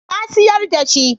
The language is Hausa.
Na siyar da shi.